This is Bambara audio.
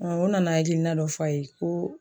O nana hakilina dɔ fɔ a ye ko